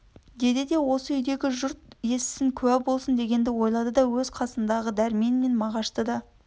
деді де осы үйдегі жұрт естісін куә болсын дегенді ойлады өз қасындағы дәрмен мен мағашты да